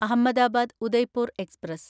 Ahmedabad Udaipur express